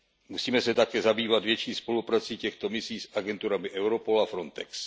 Musíme se také zabývat větší spoluprací těchto misí s agenturami Europol a Frontex.